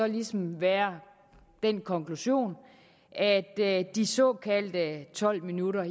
ligesom må være den konklusion at de såkaldte tolv minutter